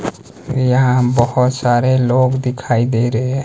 यहां बहोत सारे लोग दिखाई दे रहे--